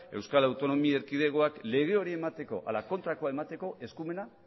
euskal autonomia erkidegoak lege hori emateko ala kontrakoa emateko eskumena